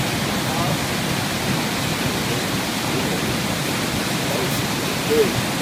kaabo awọn aniyan rẹ aniyan rẹ loye mi idahun si jẹ bẹẹni